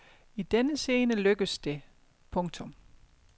I denne scene lykkes det. punktum